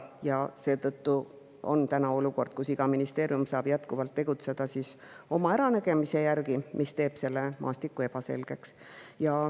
Seetõttu on täna olukord, kus iga ministeerium saab jätkuvalt tegutseda oma äranägemise järgi, mis teeb selle maastiku ebaselgeks.